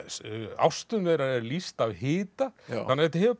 ástum þeirra er lýst af hita þannig að þetta hefur